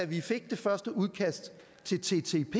vi fik det første udkast til en ttep